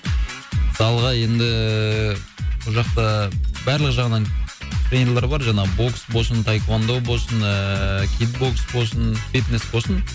залға енді ііі бұл жақта барлық жағынан тренерлар бар жаңағы бокс болсын таэквондо болсын ыыы кикбокс болсын фитнес болсын